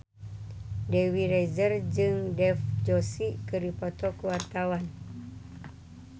Dewi Rezer jeung Dev Joshi keur dipoto ku wartawan